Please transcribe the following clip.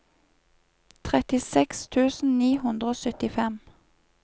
trettiseks tusen ni hundre og syttifem